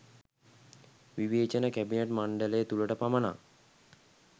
විවේචන කැබිනට් මණ්ඩලය තුළට පමණක්